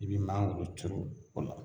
I bi mangoro turu o la.